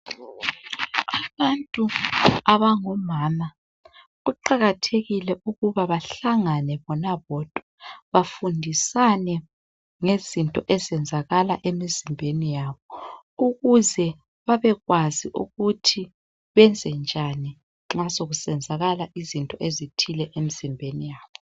Abantu abangomama kuqakathekile ukuba bahlangane bona bodwa bafundisane ngezinto ezenzakala emzimbeni yabo ukuze babekwazi ukuthi benzenjani nxa sokusenzakala izinto ezithile emzimbeni yabo